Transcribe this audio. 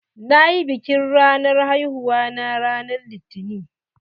Nayi biƙin ranar haihuwa na ran litani.